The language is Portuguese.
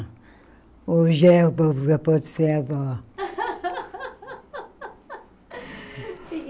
Hoje é o povo já pode ser avó.